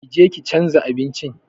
Ƙi je ki chanza abincin!